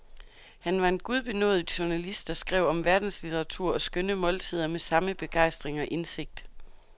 Han var en gudbenådet journalist, der skrev om verdenslitteratur og skønne måltider med samme begejstring og indsigt.